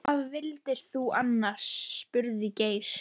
Hvað vildir þú annars? spurði Geir.